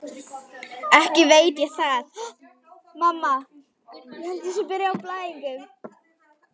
Ekki veit ég það, sagði bóndinn dræmt.